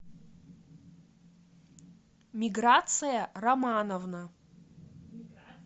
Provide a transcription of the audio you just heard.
миграция романовна